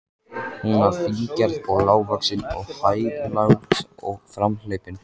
Hún var fíngerð og lágvaxin og hæglát og framhleypin.